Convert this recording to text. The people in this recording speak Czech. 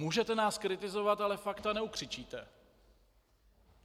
Můžete nás kritizovat, ale fakta neukřičíte.